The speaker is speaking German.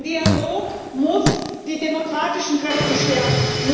Ein Dialog muss die demokratischen Kräfte stärken.